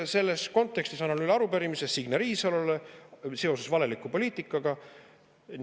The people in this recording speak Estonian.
Selles kontekstis annan üle arupärimise Signe Riisalole valeliku poliitika kohta.